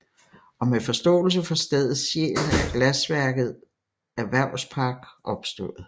Og med forståelse for stedets sjæl er glasværket Erhvervspark opstået